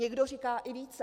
Někdo říká i více.